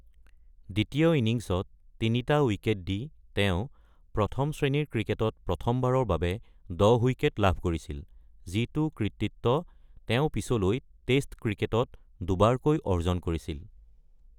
দ্বিতীয় ইনিংছত ৩টা উইকেট দি তেওঁ প্ৰথম শ্ৰেণীৰ ক্ৰিকেটত প্ৰথমবাৰৰ বাবে ১০ উইকেট লাভ কৰিছিল, যিটো কৃতিত্ব তেওঁ পিছলৈ টেষ্ট ক্ৰিকেটত দুবাৰকৈ অৰ্জন কৰিছিল।